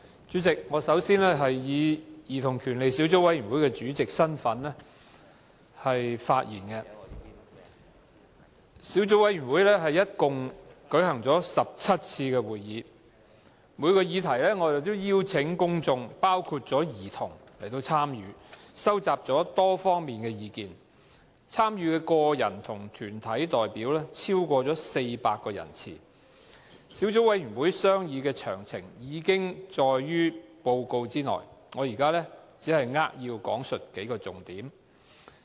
主席，我首先以兒童權利小組委員會主席的身份發言，小組委員會一共舉行了17次會議，每項議題我們都邀請公眾來參與，收集了多方面的意見。參與的個人及團體代表，超過400人次。小組委員會商議的詳情已經載於報告之內，我現在只是扼要講述數個重點。